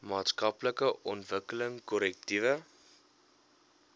maatskaplike ontwikkeling korrektiewe